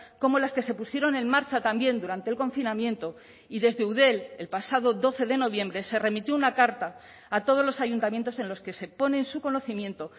como las que se pusieron en marcha también durante el confinamiento y desde eudel el pasado doce de noviembre se remitió una carta a todos los ayuntamientos en los que se pone en su conocimiento